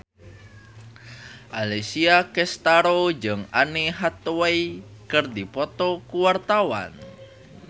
Alessia Cestaro jeung Anne Hathaway keur dipoto ku wartawan